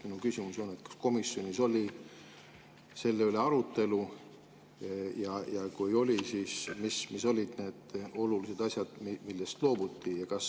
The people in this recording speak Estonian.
Mu küsimus on: kas komisjonis oli selle üle arutelu ja kui oli, siis mis olid need olulised asjad, millest loobuti?